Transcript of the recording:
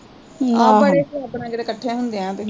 ਹਮ ਆਹੋ ਬੜੇ ਸਬੱਬ ਨਾਲ਼ ਕਿਤੇ ਕੱਠੇ ਹੁੰਦੇ ਆ ਤਿਨੈ